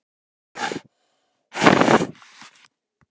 Heimir Már Pétursson: Atkvæðagreiðsla sem þessi myndi ekki gera það?